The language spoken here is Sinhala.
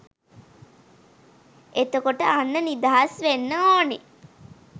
එතකොට අන්න නිදහස් වෙන්න ඕන